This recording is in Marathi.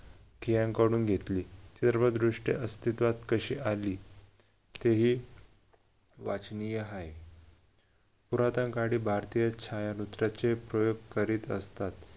कियांकडून घेतली सर्वदृष्ट्या अस्तित्वात कशी आली तेही वाचनीय आहे पुरातन काळी भारतीय छायामुद्राचे प्रयोग करीत असतात.